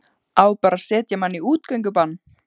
Á bara að setja mann í útgöngubann?